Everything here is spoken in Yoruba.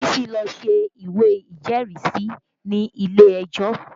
Bísí lọ ṣe ìwé ìjẹ́rìísí ni ilé ejó